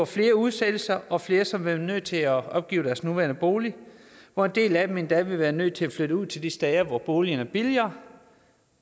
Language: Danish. flere udsættelser og flere som ville være nødt til at opgive deres nuværende bolig hvor en del af dem endda ville være nødt til at flytte ud til de steder hvor boligerne er billigere